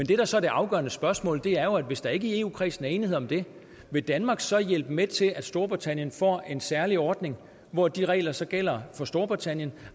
det der så er det afgørende spørgsmål er jo at hvis der ikke i eu kredsen er enighed om det vil danmark så hjælpe med til at storbritannien får en særlig ordning hvor de regler så gælder for storbritannien